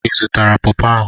Ị zụtara pawpaw ahụ?